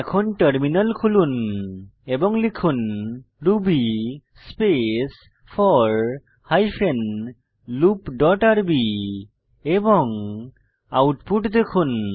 এখন টার্মিনাল খুলুন এবং লিখুন ruby space four hyphen loop dot rb এবং আউটপুট দেখুন